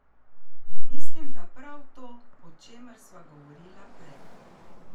Mislim, da prav to, o čemer sva govorila prej.